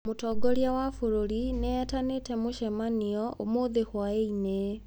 Mũtongoria wa bũrũri nĩ etanĩte mũcemanio ũmũthĩ hwaĩinĩ.